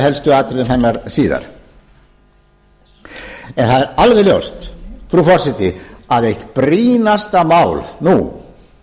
helstu atriðum hennar síðar það er alveg ljóst frú forseti að eitt brýnasta mál nú